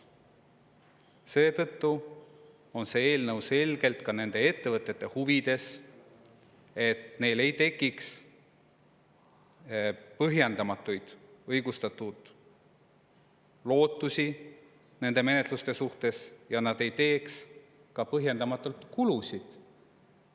Seetõttu on see eelnõu selgelt ka ettevõtete huvides, et neil ei tekiks põhjendamatult õigustatud lootusi nende menetluste suhtes ja neil ei tekiks põhjendamatuid kulusid.